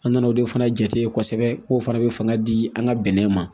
An nana o de fana jate kosɛbɛ k'o fana bɛ fanga di an ka bɛnɛ ma